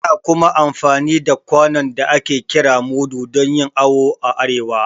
Ana kuma amfani da kwanon da ake kira mudu dan yin awo a arewa